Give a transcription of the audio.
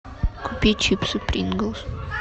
купи чипсы принглс